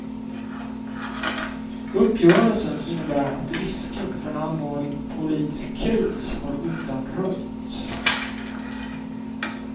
Uppgörelsen innebär att risken för en allvarlig politisk kris har undanröjts.